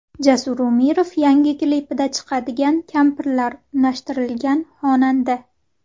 Jasur Umirov yangi klipida chiqadigan kampirlar, unashtirilgan xonanda.